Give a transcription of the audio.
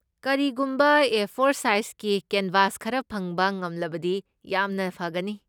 ꯀꯔꯤꯒꯨꯝꯕ A four ꯁꯥꯏꯖꯀꯤ canvas ꯈꯔ ꯐꯪꯕ ꯉꯝꯂꯕꯗꯤ ꯌꯥꯝꯅ ꯐꯒꯅꯤ꯫